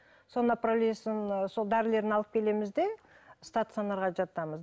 соны направлениесін сол дәрілерін алып келеміз де стационарға жатамыз